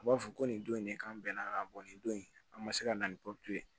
A b'a fɔ ko nin don in de kan bɛnna nin don in an ma se ka na ni pupuru ye